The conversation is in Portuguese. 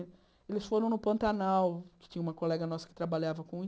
Eles foram no Pantanal, que tinha uma colega nossa que trabalhava com